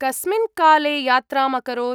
कस्मिन् काले यात्राम् अकरोत्?